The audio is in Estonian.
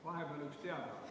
Vahepeal üks teadaanne.